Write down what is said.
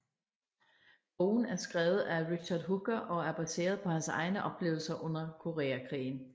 Bogen er skrevet af Richard Hooker og er baseret på hans egne oplevelser under Koreakrigen